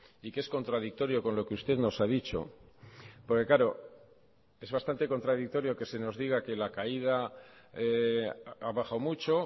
y que es contradictorio con lo que usted nos ha dicho porque claro es bastante contradictorio que se nos diga que la caída ha bajado mucho